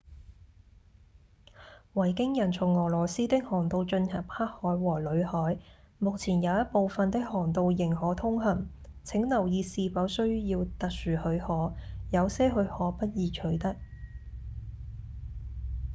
維京人從俄羅斯的航道進入黑海和裏海目前有一部份的航道仍可通行請留意是否需要特殊許可有些許可不易取得